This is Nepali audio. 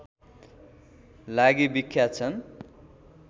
लागि विख्यात छन्